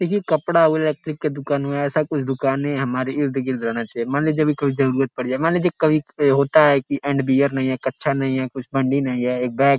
ये कपड़ा व इलेक्ट्रिक का दुकान में ऐसा कुछ दूकान हमारे इर्द गिर्द होना चाहिए। मान लीजिये अभी कोई जरूरत पड़ जाए मान लीजिये कभी होता है की अंडरवियर नहीं है कछा नहीं है कुछ बंडी नहीं है एक बैग --